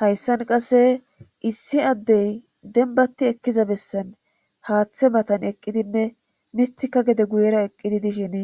hayssan qasse issi addey denbati ekkiza bessan haaththe matan eqqidinne mithika gede guyera eqqidi dishin